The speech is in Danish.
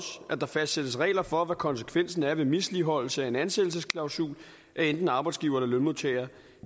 at der fastsættes regler for hvad konsekvensen er ved misligholdelse af en ansættelsesklausul af enten arbejdsgiver eller lønmodtager